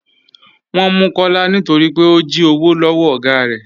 Wọn mú Kọlá nítorí pé ó jí òwò lọwọ́ ọ̀gá rẹ.